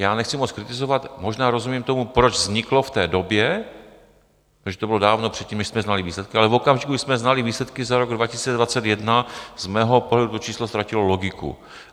Já nechci moc kritizovat, možná rozumím tomu, proč vzniklo v té době, protože to bylo dávno předtím, než jsme znali výsledky, ale v okamžiku, kdy jsme znali výsledky za rok 2021, z mého pohledu to číslo ztratilo logiku.